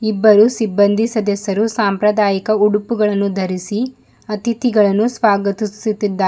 ಇಬ್ಬರು ಸಿಬ್ಬಂದಿ ಸದಸ್ಯರು ಸಾಂಪ್ರದಾಯಿಕ ಉಡುಪುಗಳನ್ನು ಧರಿಸಿ ಅತಿಥಿಗಳನ್ನು ಸ್ವಾಗತಿಸುತಿದ್ದಾ--